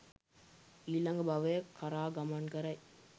ඊළඟ භවය කරා ගමන් කරයි.